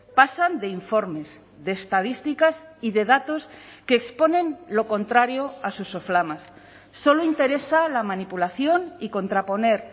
pasan de informes de estadísticas y de datos que exponen lo contrario a sus soflamas solo interesa la manipulación y contraponer